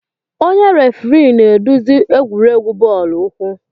Onye refirii na-eduzi egwuregwu bọọlụ ukwu.